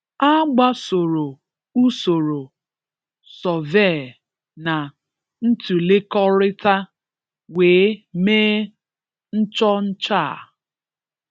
A gbasoro usoro sọvee na ntụlekọrịta wee mee nchọcha a.